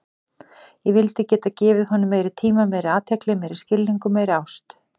Ég vildi geta gefið honum meiri tíma, meiri athygli, meiri skilning og meiri ást.